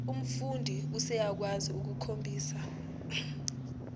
umfundi useyakwazi ukukhombisa